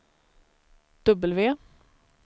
W